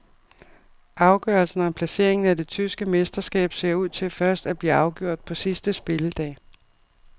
Afgørelsen om placeringen af det tyske mesterskab ser ud til først at blive afgjort på sidste spilledag.